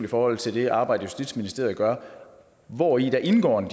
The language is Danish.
i forhold til det arbejde justitsministeriet gør hvori der indgår en